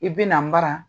I bi na mara